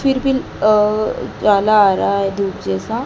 फिर पिल अह जाला आ रहा है धूप जैसा--